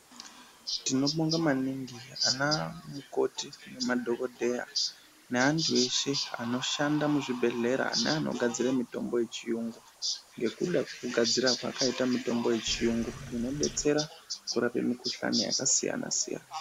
Tinobonga maningi ana mukoti nadokoteya neandu eshe anoshanda muzvibhedhlera neanogadzire mitombo yechiyungu ngekuda kugadzira kwaakaita mitombo yechiyungu inobetsera kurape mikhuhlani yakasiyana siyana.